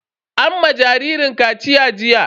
An ma jaririn kaciya jiya.